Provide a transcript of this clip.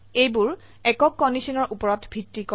এইবোৰ একক কন্ডিশনৰ উপৰত ভিত্তি কৰে